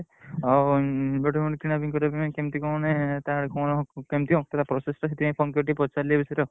ଆଉ ଗୋଟେ କଉଠି କିଣାକିଣି କରିଆ ପାଇଁ କିମିତି କଣ ମାନେ ତାର କଣ କେମିତିଆ process ଟା ସେଥିପାଇଁ phone କରି ପଚାରିଲି ଏ ବିଷୟରେ ଆଉ।